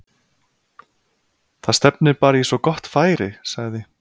Það stefnir bara í svo gott færi- sagði